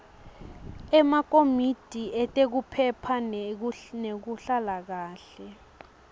emakomiti etemphilo nekuphepha